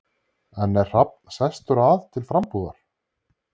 En er Hrafn sestur að til frambúðar?